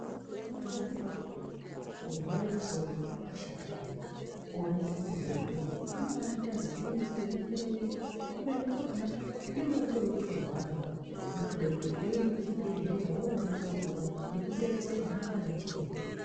Pamweni pakona kurwara soro kwakashata maningi kuoneka muntu weipenga unombaaita zibenzi weimberereka kubeni pakona kunenge kutori kutorwarawo kunotode kuti uende kuchibhedhlera woongororwa nekudetserwa ngaana chiremba